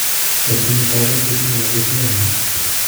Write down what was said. ne tinyei taunet ko tinyeikakesunet nyin